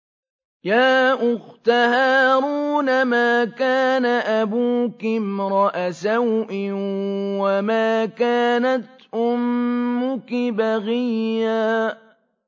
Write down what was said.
يَا أُخْتَ هَارُونَ مَا كَانَ أَبُوكِ امْرَأَ سَوْءٍ وَمَا كَانَتْ أُمُّكِ بَغِيًّا